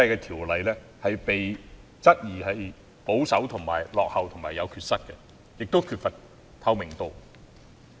《條例》現時被質疑保守、落後、有缺失及缺乏透明度。